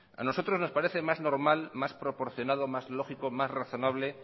a nosotros nos parece más normal más proporcionado más lógico más razonable